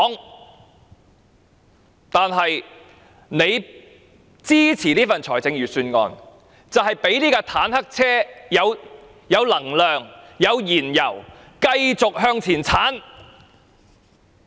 如果他們支持這份預算案，便等於讓這部坦克車有能量和燃油繼續向前衝。